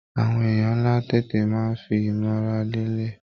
Àwọn èèyàn ńlá tètè máa ń fi ìmọra lélẹ̀